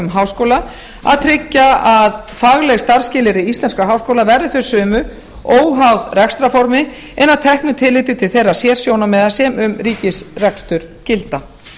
háskóla að tryggja að fagleg starfsskilyrði íslenskra háskóla verði þau sömu óháð rekstrarformi en að teknu tilliti til þeirra sérsjónarmiða sem um ríkisrekstur gilda